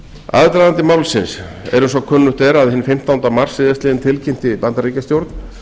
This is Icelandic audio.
aðdragandi málsins er eins og kunnugt er að hinn fimmtánda mars síðastliðinn tilkynnti bandaríkjastjórn